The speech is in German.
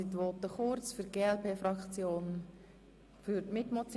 Die Voten werden daher kurz ausfallen.